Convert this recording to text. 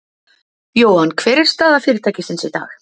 Jóhann, hver er staða fyrirtækisins í dag?